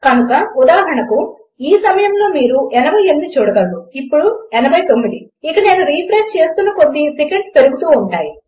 కనుక ఉదాహరణకు ఈ సమయములో మీరు 88 చూడగలరు ఇప్పుడు 89 ఇక నేను రిఫ్రెష్ చేస్తున్న కొద్దీ ఇది ఒక్కో సెకండ్గా పెరుగుతూ ఉంటుంది